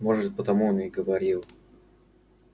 может потому он и говорил